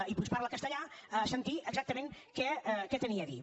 i puix que parla castellà a sentir exactament què tenia a dir